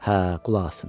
Hə, qulaq asın.